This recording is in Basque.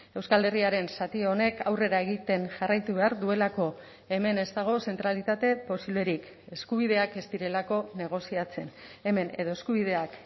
euskal herriaren zati honek aurrera egiten jarraitu behar duelako hemen ez dago zentralitate posiblerik eskubideak ez direlako negoziatzen hemen edo eskubideak